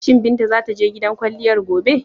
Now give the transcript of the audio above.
Shi Binta za ta je gidan kwalliyar gobe?